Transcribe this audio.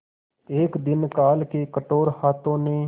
एक दिन काल के कठोर हाथों ने